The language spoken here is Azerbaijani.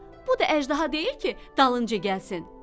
Bu da əjdaha deyil ki, dalınca gəlsin.